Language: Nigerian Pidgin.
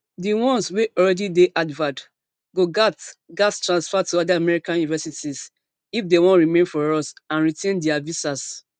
di ones wey already dey harvard go gatz gatz transfer to oda american universities if dem wan remain for us and retain dia visas